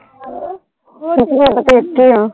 ਸੱਚੀਂ ਮੈਂ ਤਾਂ ਪੇਕੇ ਆਂ।